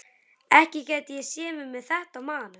Ekki gæti ég séð mig með þetta á maganum.